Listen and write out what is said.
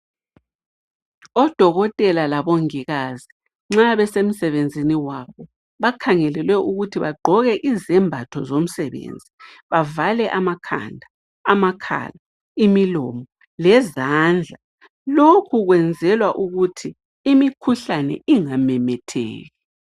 Odokotela labongikazi nxa besemsebenzini wabo bakhangelelwe ukuthi bagqoke izembatho zomsebenzi. Bavale amakhanda, amakhala, imilomo lezandla. Lokho kwenzelwa ukuthi imikhuhlane ingamemetheki